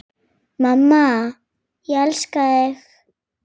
Mamma, ég elska þig.